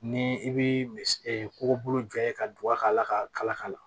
Ni i bi kɔgɔbolo jɔ ye ka don a ka ala ka kala kala